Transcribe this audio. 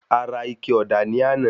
A ra ike ọ̀dà ní àná.